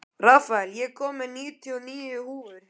Rafael, ég kom með níutíu og níu húfur!